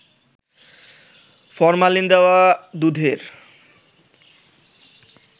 formalin দেওয়া দুধের